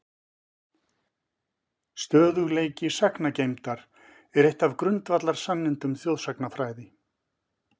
Stöðugleiki sagngeymdar er eitt af grundvallarsannindum þjóðsagnafræði.